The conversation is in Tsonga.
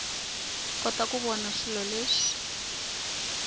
kota ku vona swilo leswi